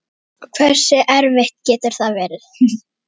Hversu erfitt getur það verið?